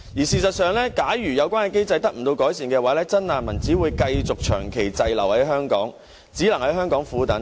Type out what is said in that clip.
事實上，假如有關機制得不到改善，真難民只會繼續長期滯留在香港，只能在香港苦等。